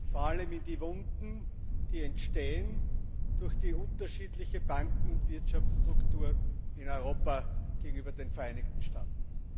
Vor allem in die Wunden, die entstehen durch die unterschiedliche Banken und Wirtschaftsstruktur in Europa gegenüber den Vereinigten Staaten.